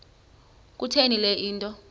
kutheni le nto